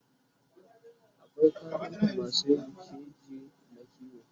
akwai kafintamasu Yin keji na kiwo